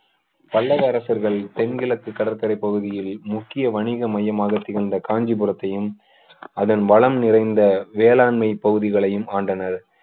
பல்லவ அரசர்கள் தென்கிழக்கு கடற்கரை பகுதியில் முக்கிய வணிக மையமாக திகழ்ந்த காஞ்சிபுரத்தையும் அதன் வளம் நிறைந்த வேளாண்மை பகுதிகளையும் ஆண்டனர்